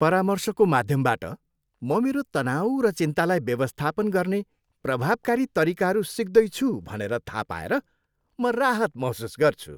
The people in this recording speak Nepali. परामर्शको माध्यमबाट, म मेरो तनाउ र चिन्तालाई व्यवस्थापन गर्ने प्रभावकारी तरिकाहरू सिक्दैछु भनेर थाहा पाएर म राहत महसुस गर्छु।